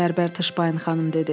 Bərbər Tışbain xanım dedi.